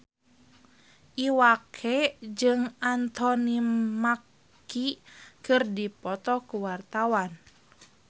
Iwa K jeung Anthony Mackie keur dipoto ku wartawan